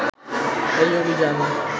“এই অভিযান